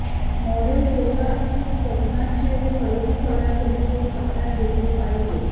model जोरदार खूप वजनाचे व खरेदी करण्यापूर्वी तो खात्यात घेतले पाहिजे